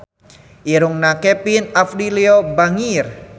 Irungna Kevin Aprilio bangir